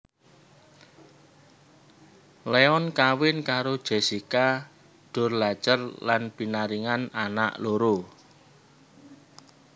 Leon kawin karo Jessica Durlacher lan pinaringan anak loro